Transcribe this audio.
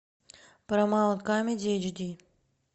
парамаунт камеди эйч ди